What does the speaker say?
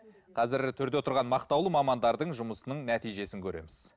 қазір төрде отырған мақтаулы мамандардың жұмысының нәтижесін көреміз